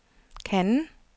Cannes